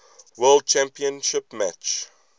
world championship match